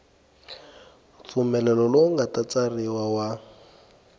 mpfumelelo lowu nga tsariwa wa